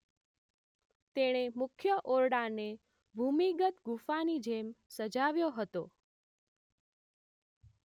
તેણે મુખ્ય ઓરડાને ભૂમિગત ગુફાની જેમ સજાવ્યો હતો